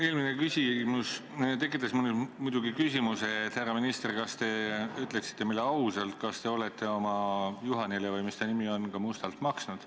Eelmine küsimus tekitas muidugi küsimuse, et härra minister, kas te ütleksite meile ausalt, kas te olete oma Juhanile – või mis ta nimi oli – ka mustalt maksnud.